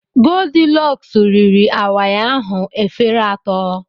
Goldilọks riri awaị ahụ efere atọ.